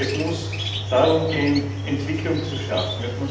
Es muss darum gehen, Entwicklung zu schaffen.